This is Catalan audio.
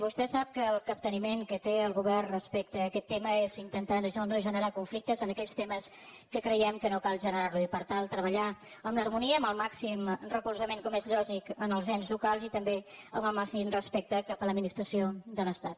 vostè sap que el capteniment que té el govern respec te a aquest tema és intentar no generar conflictes en aquells temes en què creiem que no cal generar los i per tant treballar amb harmonia i amb el màxim recolzament com és lògic als ens locals i també amb el màxim respecte cap a l’administració de l’estat